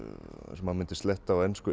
eins og maður myndi sletta á ensku